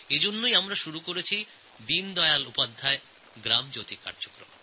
সেইজন্যই আমরা শুরু করেছি দীনদয়াল উপাধ্যায় গ্রাম জ্যোতি কার্যক্রম